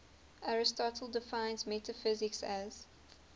aristotle defines metaphysics as